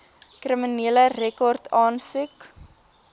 kriminele rekord aansoek